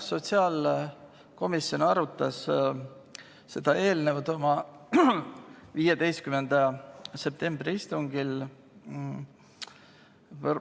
Sotsiaalkomisjon arutas seda eelnõu oma 15. septembri istungil.